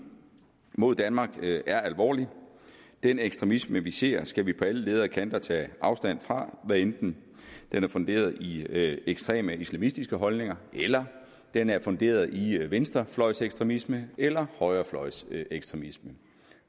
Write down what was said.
mod danmark er alvorlig den ekstremisme vi ser skal vi på alle ledder og kanter tage afstand fra hvad enten den er funderet i ekstreme islamistiske holdninger eller den er funderet i venstrefløjsekstremisme eller højrefløjsekstremisme